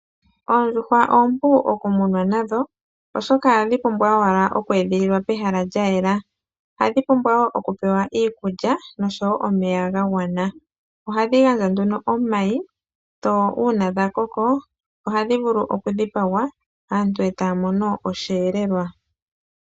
Oondjuhwa oompu okumunwa nadho, oshoka odha pumbwa wala oku edhililwa pehala lyayela, adhi pumbiwa wo okupewa iikulya nosho wo omeya ga gwana. Ohadhi gandja nduno omayi, dho uuna dha koko oha dhi vulu oku dhipagwa, aantu etaya mono oshiyeelelwa.